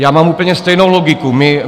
Já mám úplně stejnou logiku.